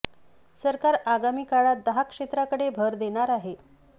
सरकार आगामी काळात दहा क्षेत्रांकडे भर देणार आहे